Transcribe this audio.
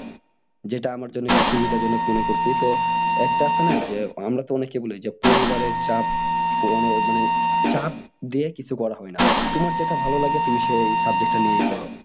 যেটা আমার জন্য একটু সুবিধা জনক মনে করসি তো একটা আছে না যে আমরা তো অনেকে বলি যে পরিবারের চাপ পুরনের মানে চাপ দিয়ে কিছু করা হয় না তোমার যেটা ভালো লাগে তুমি সেই subject টা নিয়েই পড়